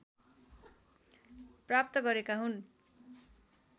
प्राप्त गरेका हुन्